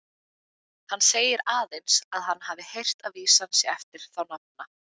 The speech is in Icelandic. Hann segir aðeins, að hann hafi heyrt að vísan sé eftir þá nafna.